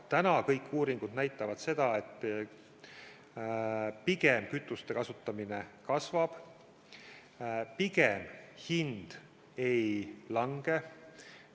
Praegu kõik uuringud näitavad, et kütuste kasutamine pigem kasvab ja hind pigem ei lange.